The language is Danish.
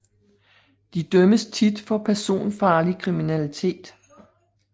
De dømmes tit for personfarlig kriminalitet